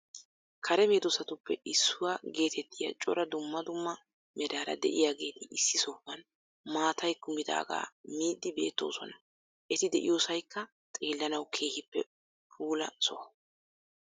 Karee meedoossatuppe issuwaa geetettiyaa cora duummaa duummaa meraara de7iyageeti issi sohuwan maatay kummidaga miyddi beettosona. Eeti de7iyosaykka xeellanawu keehippe puulla soho.